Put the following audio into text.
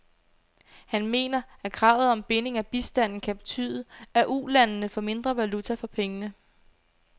Han mener, at kravet om binding af bistanden kan betyde, at ulandene får mindre valuta for pengene.